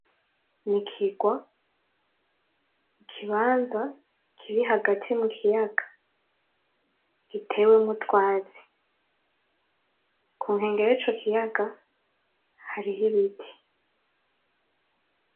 N'ikigwa, ikibanza kiri hagati mu kiyaga gitewemwo utwatsi, kunkengera yico kiyaga hariho ibiti.